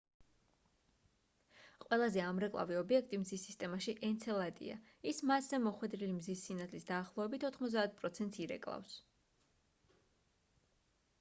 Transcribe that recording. ყველაზე ამრეკლავი ობიექტი მზის სისტემაში ენცელადია ის მასზე მოხვედრილი მზის სინათლის დაახლოებით 90 პროცენტს ირეკლავს